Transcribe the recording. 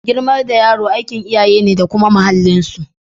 Girmar da yaro aikin iyaye ne da kuma muhallin su.